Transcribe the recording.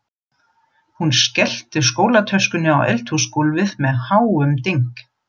Hún skellti skólatöskunni á eldhúsgólfið með háum dynk.